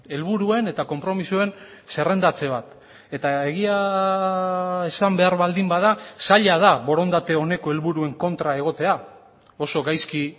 helburuen eta konpromisoen zerrendatze bat eta egia esan behar baldin bada zaila da borondate oneko helburuen kontra egotea oso gaizki